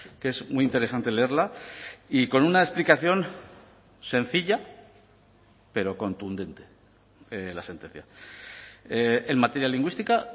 que es muy interesante leerla y con una explicación sencilla pero contundente la sentencia en materia lingüística